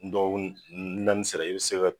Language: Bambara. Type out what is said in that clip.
Dɔgɔkun naanisera i bɛ se ga